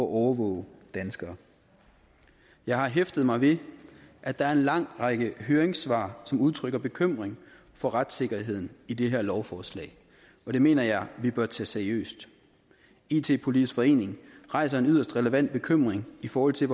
overvåge danskere jeg hæfter mig ved at der er en lang række høringssvar som udtrykker bekymring for retssikkerheden i det her lovforslag og det mener jeg vi bør tage seriøst it politisk forening rejser en yderst relevant bekymring i forhold til